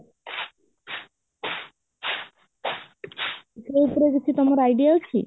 ସେଇ ବିଷୟରେ ତମର କିଛି Idea ଅଛି?